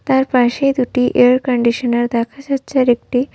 তার পাশেই দুটি এয়ার কন্ডিশনার দেখা যাচ্ছে আর একটি--